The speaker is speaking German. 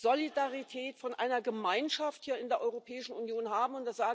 Solidarität, von einer Gemeinschaft hier in der Europäischen Union haben?